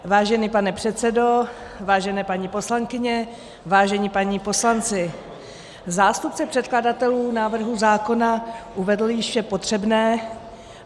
Vážený pane předsedo, vážené paní poslankyně, vážení páni poslanci, zástupce předkladatelů návrhu zákona uvedl již vše potřebné.